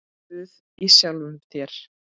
Guð í sjálfum þér.